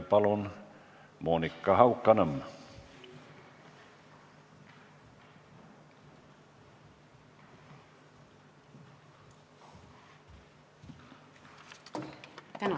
Palun, Monika Haukanõmm!